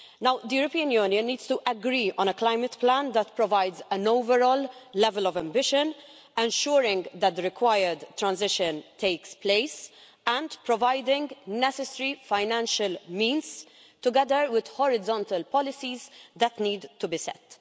The European Union needs to agree on a climate plan that provides an overall level of ambition, ensuring that the required transition takes place and providing the necessary financial means, together with the horizontal policies that need to be set.